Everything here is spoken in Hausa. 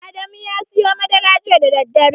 Adamu ya siyo madara jita da daddare.